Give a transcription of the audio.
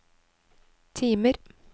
timer